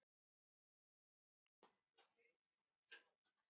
Styður Blönduósbær vel við Hvöt?